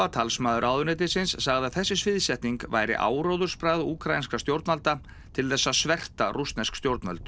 talsmaður ráðuneytisins sagði að þessi sviðsetning væri áróðursbragð úkraínskra stjórnvalda til þess að sverta rússnesk stjórnvöld